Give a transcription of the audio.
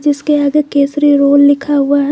इसके आगे केशरी रोल लिखा हुआ है।